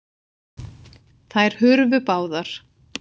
Þær hurfu báðar.